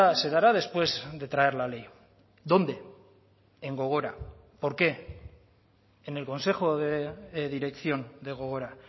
se dará después de traer la ley dónde en gogora por qué en el consejo de dirección de gogora